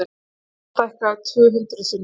Mannshár stækkað tvö hundruð sinnum.